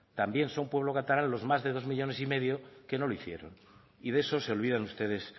también son pueblo catalán los más de dos millónes y medio que no lo hicieron y de esos se olvidan ustedes